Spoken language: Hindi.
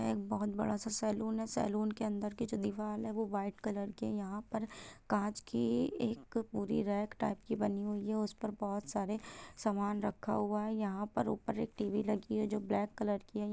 यह एक बहुत बड़ा-सा सैलून है| सैलून के अंदर की जो दीवाल है वो व्हाइट कलर की है यहाँ पर कांच की एक पूरी रेड टाइप की बनी हुई है उसपे बहुत सारी सामन रखा हूआ है यह पर ऊपर एक टी_वी लगी हुई जो ब्लैक कलर की है।